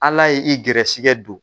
Ala ye i gɛrɛsɛgɛ don